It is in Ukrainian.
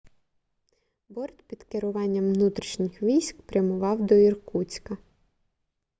борт під керуванням внутрішніх військ прямував до іркутська